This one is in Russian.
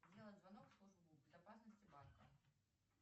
сделать звонок в службу безопасности банка